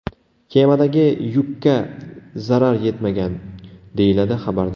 Kemadagi yukka zarar yetmagan”, deyiladi xabarda.